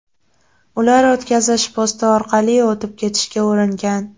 Ular o‘tkazish posti orqali o‘tib ketishga uringan.